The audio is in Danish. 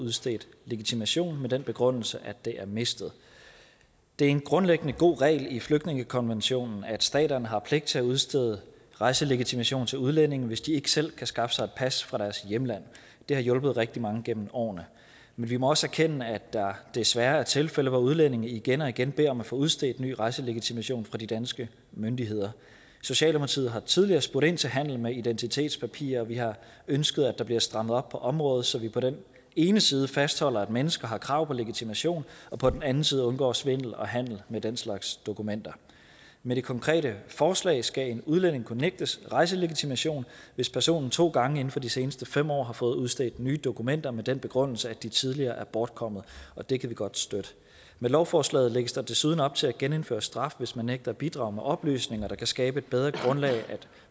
udstedt legitimation med den begrundelse at det er mistet det er en grundlæggende god regel i flygtningekonventionen at staterne har pligt til at udstede rejselegitimation til udlændinge hvis de ikke selv kan skaffe sig pas fra deres hjemland det har hjulpet rigtig mange gennem årene men vi må også erkende at der desværre er tilfælde hvor udlændinge igen og igen beder om at få udstedt ny rejselegitimation fra de danske myndigheder socialdemokratiet har tidligere spurgt ind til handel med identitetspapirer og vi har ønsket at der bliver strammet op på området så vi på den ene side fastholder at mennesker har krav på legitimation og på den anden side undgår svindel og handel med den slags dokumenter med det konkrete forslag skal en udlænding kunne nægtes rejselegitimation hvis personen to gange inden for de seneste fem år har fået udstedt nye dokumenter med den begrundelse at de tidligere er bortkommet det kan vi godt støtte med lovforslaget lægges der desuden op til at genindføre straf hvis man nægter at bidrage med oplysninger der kan skabe et bedre grundlag for